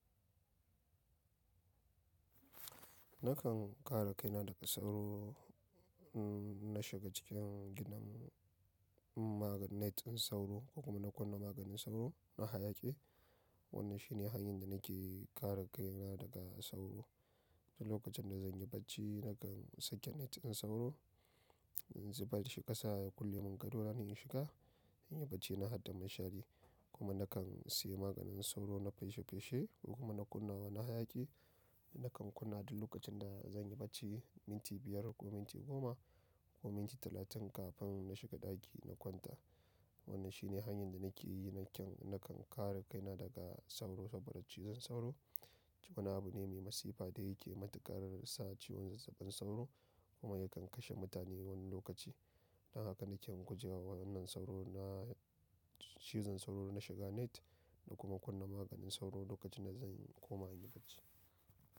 Nakan kare kaina daga sauro, n-na shiga cikin gidan magani net ɗin sauro kuma na kunna maganin sauro na hayaƙi. Wannan shi ne hanyar da nake kare kai na daga sauro. Duk lokacin da zan yi bacci nakan saka net ɗin sauro, in zubar da shi ƙasa ya kulle min gado na in shiga, in yi bacci na hada mashari kuma nakan sayi maganin sauro na feshe feshe ko kuma na kunnawa na hayaƙi. Nakan kunna duk lokacin da zan yi bacci, minti biyar ko minti goma ko minti talatin kafin na shiga ɗaki na kwanta. Wannan shi ne hanyar da nake yi nakan, nakan kare kaina daga sauro saboda cizon sauro wani abu ne mai masifa da yake matuƙar sa ciwon zazzabin sauro kuma yakan kashe mutane wani lokaci. Dan haka nake gujewa wannan sauro na cizon sauro na shiga net da kuma kunna maganin sauro lokacin da zan koma in yi bacci.